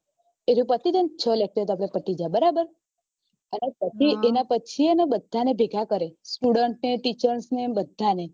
એર્યું પતિ જાય છ lecture પતિ જાય બરાબર એના પછી બધા ભેગા કરે student ને teacher ને બધા ને